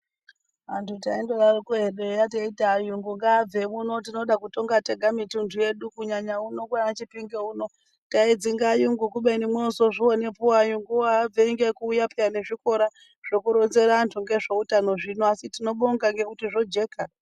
Antu taindodaroko hedu eya teiti ayunguwo ngaabve uno tinoda kutonga tega mithundu yedu, kunyanya uno kwaanaChipinge uno, taidzinge ayungu kubeni moozozvionaepo ayunguwo haabviri ngekuuya peya nezvikora zvekuronzera antu ngezveutanozvo, asi tinobonga ngekuti zvojeka.